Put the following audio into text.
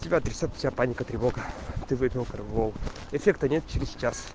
тебя трясёт у тебя паника тревога ты выпил корвалол эффекта нет через час